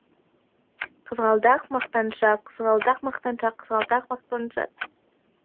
қызғалдақ мақтаншақ қызғалдақ мақтаншақ қызғалдақ мақтаншақ